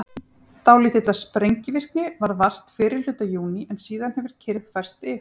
dálítillar sprengivirkni varð vart fyrri hluta júní en síðan hefur kyrrð færst yfir